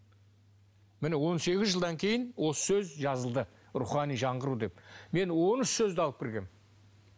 міне он сегіз жылдан кейін осы сөз жазылды рухани жаңғыру деп мен он үш сөзді алып кіргенмін